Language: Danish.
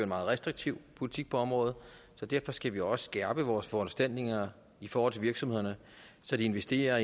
meget restriktiv politik på området så derfor skal vi også skærpe vores foranstaltninger i forhold til virksomhederne så de investerer